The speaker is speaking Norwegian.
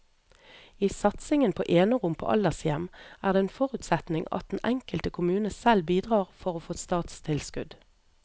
I satsingen på enerom på aldershjem er det en forutsetning at den enkelte kommune selv bidrar for å få statstilskudd.